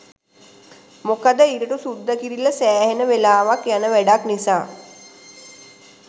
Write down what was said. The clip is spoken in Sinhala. මොකද ඉරටු සුද්ද කිරිල්ල සෑහෙන වෙලාවක් යන වැඩක් නිසා.